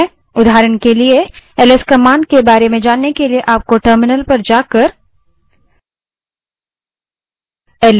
उदाहरण के लिए ls command के बारे में जानने के लिए आपको terminal पर जाना पड़ेगा